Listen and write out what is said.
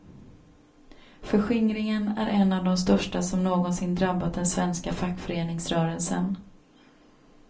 Förskingringen är en av de största som någonsin drabbat den svenska fackföreningsrörelsen.